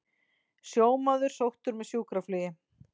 Sjómaður sóttur með sjúkraflugi